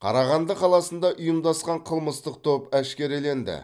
қарағанды қаласында ұйымдасқан қылмыстық топ әшкереленді